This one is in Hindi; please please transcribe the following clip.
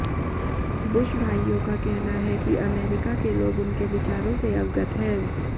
बुश भाइयों का कहना है कि अमरीका के लोग उनके विचारों से अवगत हैं